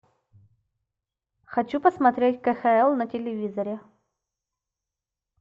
хочу посмотреть кхл на телевизоре